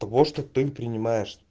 того что ты принимаешь